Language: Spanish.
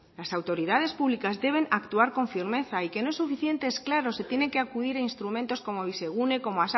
las autoridades públicas deben actuar con firmeza y que no es suficiente claro y tienen que acudir a instrumentos como bizigune o como